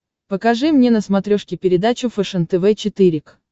покажи мне на смотрешке передачу фэшен тв четыре к